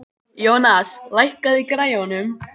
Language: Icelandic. Jónas, lækkaðu í græjunum.